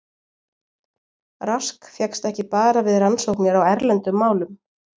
Rask fékkst ekki bara við rannsóknir á erlendum málum.